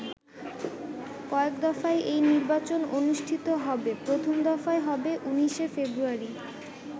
কয়েক দফায় এই নির্বাচন অনুষ্ঠিত হবে, প্রথম দফায় হবে ১৯শে ফেব্রুয়ারি।